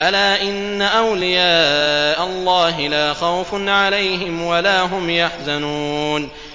أَلَا إِنَّ أَوْلِيَاءَ اللَّهِ لَا خَوْفٌ عَلَيْهِمْ وَلَا هُمْ يَحْزَنُونَ